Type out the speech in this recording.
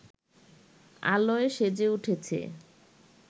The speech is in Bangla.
আলোয় সেজে উঠেছে